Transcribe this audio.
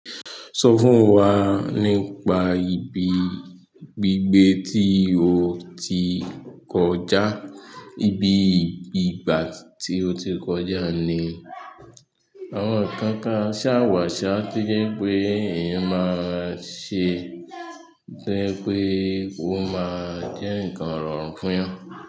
Sọ fún wa nípa ibi gbígbé tí o ti kọjá, ibi ìgbà tí o ti kọjá? Ní àwọn nǹkan kan ṣàwàṣá to jẹ́ pé eyan máa ṣe, toje pe ó máa jẹ́ nǹkan rọrùn fún yan.